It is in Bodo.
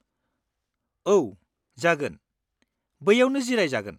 औ, जागोन ! बैयावनो जिराय जागोन।